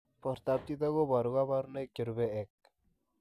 Portoop chitoo kobaruu kabarunaik cherubei ak